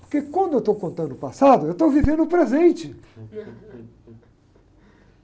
Porque quando eu estou contando o passado, eu estou vivendo o presente.